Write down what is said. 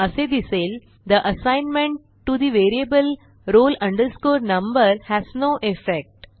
असे दिसेल the assignment to the variable roll number has no effect